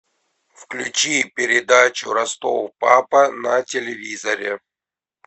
включи передачу ростов папа на телевизоре